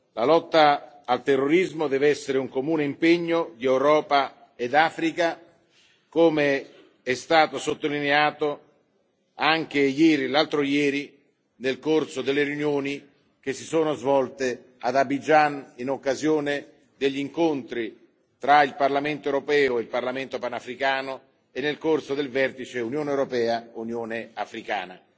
La lotta al terrorismo deve essere un comune impegno di Europa ed Africa, come è stato sottolineato anche l'altro ieri nel corso delle riunioni che si sono svolte ad Abidjan, in occasione degli incontri tra il Parlamento europeo e il Parlamento panafricano e nel corso del vertice Unione europea Unione africana.